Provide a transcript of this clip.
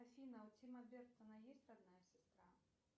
афина у тима бертона есть родная сестра